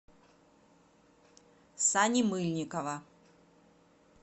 сани мыльникова